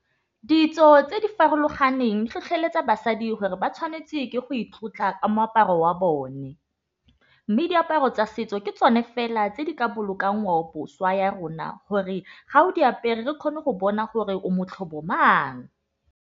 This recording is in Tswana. Ditso tse di farologaneng di tlhotlheletsa basadi gore ba tshwanetse ke go itlotla ka moaparo wa bone. Mme diaparo tsa setso ke tsone fela tse di ka boloka ngwaoboswa ya rona gore ga o di apere re kgone go bona gore o mang.